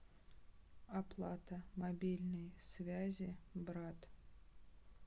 оплата мобильной связи брат